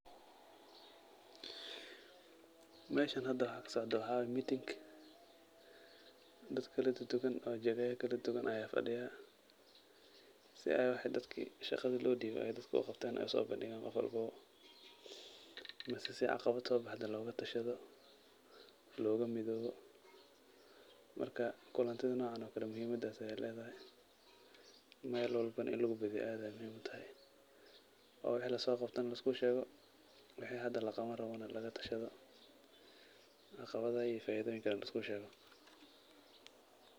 Meshan hada waxa kasocdo waxa kasocdo waa meeting dad kala duduwan oo jagaya kala duduwan aya fadhiya si ay wixi dadki shaqada loo dhibe ay dadka u qabtan oo uso bandhigan qof walbobo mise si caqabad soo baxde loga tashado, laga midowo marka kulantida nocan oo kale muhimadas ayay ledahay, Mel walbo inu lugu badiyo aad ayay muhim utahay oo wixi laso qabto na lisku sheego, wixi hada laqabani rabo na laga tashado, caqabadaha iyo faidoyinkana lisku shego